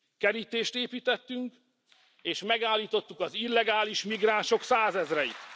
Kerítést építettünk, és megállítottuk az illegális migránsok százezreit.